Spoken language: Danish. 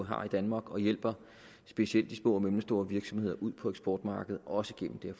har i danmark og hjælper specielt de små og mellemstore virksomheder ud på eksportmarkedet også gennem det